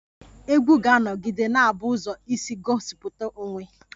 Egwú ga-anọgide na-abụ ụzọ isi gosipụta onwe